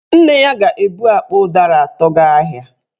Nne ya ga-ebu akpa ụdara atọ gaa ahịa